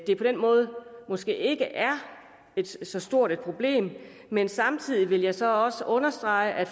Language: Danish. det på den måde måske ikke er så stort et problem men samtidig vil jeg så også understrege at